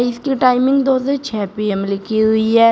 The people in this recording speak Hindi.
इसकी टाइमिंग दो से छह पी_एम लिखी हुई है।